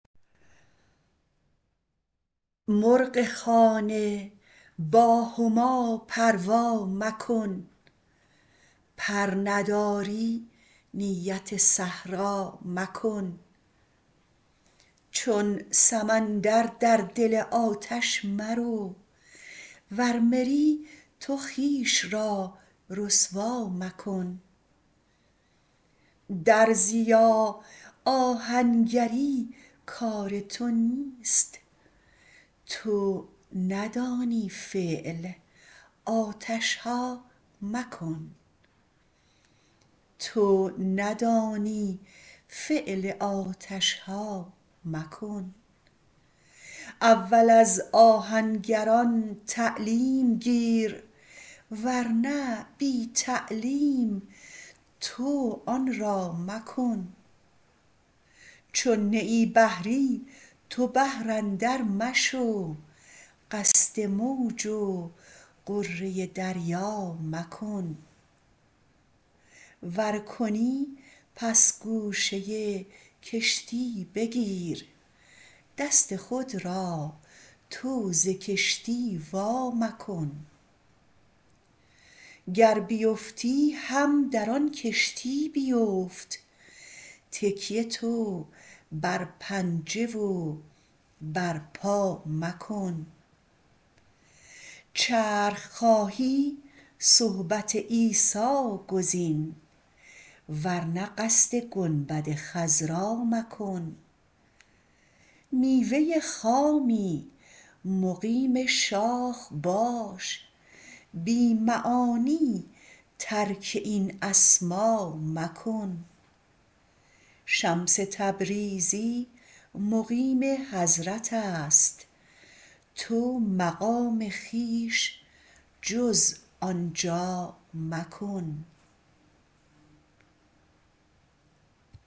مرغ خانه با هما پروا مکن پر نداری نیت صحرا مکن چون سمندر در دل آتش مرو وز مری تو خویش را رسوا مکن درزیا آهنگری کار تو نیست تو ندانی فعل آتش ها مکن اول از آهنگران تعلیم گیر ور نه بی تعلیم تو آن را مکن چون نه ای بحری به بحر اندر مشو قصد موج و غره دریا مکن ور کنی پس گوشه کشتی بگیر دست خود را تو ز کشتی وا مکن گر بیفتی هم در آن کشتی بیفت تکیه تو بر پنجه و بر پا مکن چرخ خواهی صحبت عیسی گزین ور نه قصد گنبد خضرا مکن میوه خامی مقیم شاخ باش بی معانی ترک این اسما مکن شمس تبریزی مقیم حضرت است تو مقام خویش جز آن جا مکن